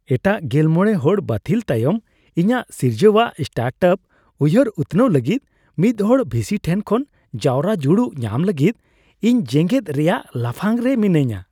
ᱮᱴᱟᱜ ᱑᱕ ᱦᱚᱲ ᱵᱟᱹᱛᱷᱤᱞ ᱛᱟᱭᱚᱢ ᱤᱧᱟᱹᱜ ᱥᱤᱨᱡᱟᱹᱣᱟᱜ ᱥᱴᱟᱨᱴᱟᱯ ᱩᱭᱦᱟᱹᱨ ᱩᱛᱱᱟᱹᱣ ᱞᱟᱹᱜᱤᱫ ᱢᱤᱫᱦᱚᱲ ᱵᱷᱤᱥᱤ ᱴᱷᱮᱱ ᱠᱷᱚᱱ ᱡᱟᱣᱨᱟ ᱡᱩᱲᱩ ᱧᱟᱢ ᱞᱟᱹᱜᱤᱫ ᱤᱧ ᱡᱮᱜᱮᱫ ᱨᱮᱭᱟᱜ ᱞᱟᱯᱷᱟᱝ ᱨᱮ ᱢᱤᱱᱟᱹᱧᱟ ᱾